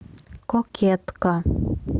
кокетка